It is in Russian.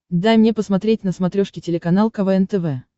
дай мне посмотреть на смотрешке телеканал квн тв